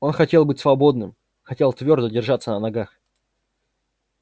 он хотел быть свободным хотел твёрдо держаться на ногах